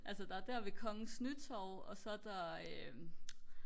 altså der er der ved kongens nytorv og så er der øhm